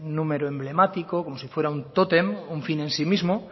un número emblemático como si fuera un tótem un fin en sí mismo